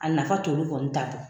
A nafa t'olu kɔni ta bɔ.